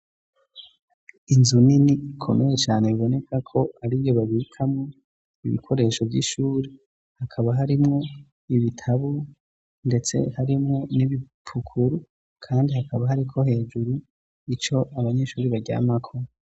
Inzu nini ikomeye cane iboneka ko ariyo babikamwo ibikoresho vy'ishure, hakaba harimwo ibitabu ndetse harimwo n'ibipukuru kandi hakaba hariko hejuru ico abanyeshure baryamako.